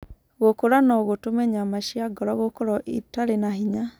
Gũkũra no gũtũme nyama cia ngoro gũkorũo itarĩ na hĩnya.